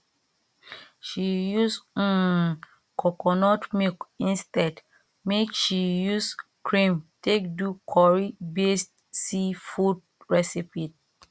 she use um coconut milk instead make she use cream take do curry based seafood recipie